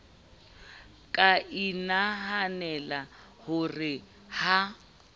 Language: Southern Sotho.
ka inahanela ho re ha